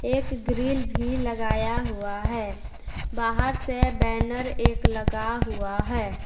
एक ग्रील भी लगाया हुआ है बाहर से एक बैनर भी लगा हुआ है।